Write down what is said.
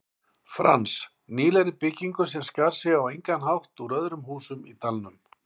Frans, nýlegri byggingu sem skar sig á engan hátt úr öðrum húsum í dalnum.